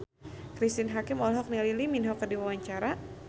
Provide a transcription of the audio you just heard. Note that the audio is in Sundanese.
Cristine Hakim olohok ningali Lee Min Ho keur diwawancara